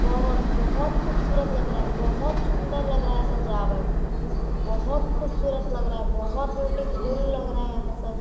बोहत बोहत खुबसूरत लग रहा है बोहत सुन्दर लग रहा है सजावट बोहत खुबसूरत लग रहा है बोहत ब्यूटीफुल लग रहा है सजा--